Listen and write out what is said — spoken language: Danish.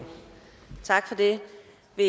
vi